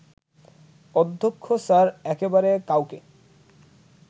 অধ্যক্ষ স্যার একেবারে কাউকে